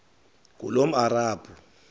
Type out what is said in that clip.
ngulomarabu